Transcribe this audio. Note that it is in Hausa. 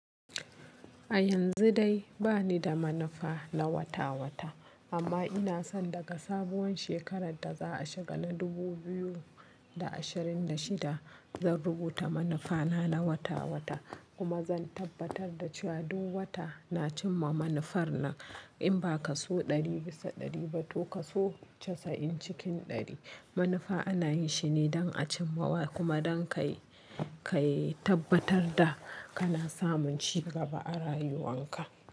A yanzu dai bani da manufa na wata-wata amma ina son daga sabuwar shekarar da za a shiga na dubu biyu da ashirin da shida zan rubuta manufa na wata-wata kuma zan tabbatar da cewa duk wata na cimma manufar na. In ba ka so ɗari bisa ɗari ba, to ka so casa'in cikin ɗari. Manufa ana yi shine don a cimma kuma don ka tabbatar da kana samun ci gaba a rayuwan ka.